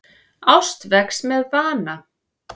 Ást vex með vana.